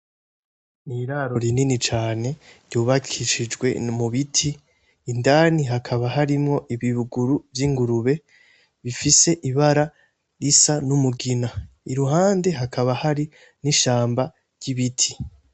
N'iraro rinini cane ryubakishijwe mu biti indani hakaba harimwo ibibuguru vy'ingurube bifise ibara risa n'umugina i ruhande hakaba hari n'ishamba ry'ibiti.